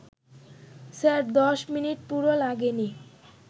sir, ১০ minute পুরো লাগেনি